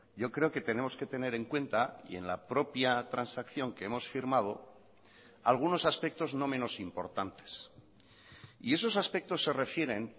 yo creo que tenemos que tener en cuenta y en la propia transacción que hemos firmado algunos aspectos no menos importantes y esos aspectos se refieren